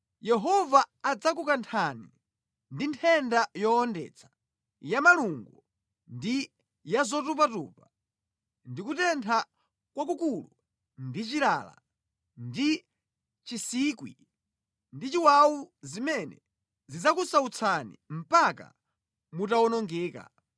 Yehova adzakukanthani ndi nthenda yowondetsa, ya malungo ndi ya zotupatupa, ndi kutentha kwakukulu ndi chilala, ndi chinsikwi ndi chiwawu zimene zidzakusautsani mpaka mutawonongeka.